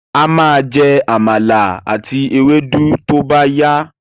A má jẹ́ Àmàlà àti ewédú tó bá yá